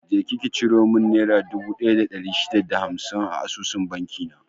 Je ki ciro mun nera dubu ɗaya da ɗari shida da hamsin a asusun banki na!